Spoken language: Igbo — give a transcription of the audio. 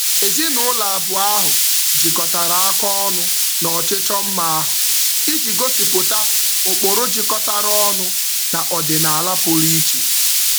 Ezinụụlọ abụọ ahụ jikọtara aka ọnụ n'ọchịchọ mma ahụ iji gosipụta ụkpụrụ jikọtara ọnụ na ọdịnaala pụrụ iche.